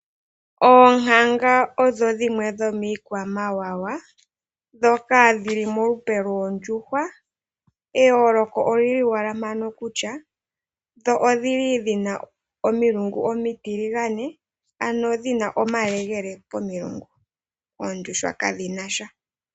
Oonkanga odho dhimwe dhomiikwamawawa ndhoka dhi li molupe lwoondjuhwa eyooloko oli li wala mpano kutya dho odhili dhina omilungu omitiligane ano dhina omalegele komilungu oondhjuhwa kadhina sha.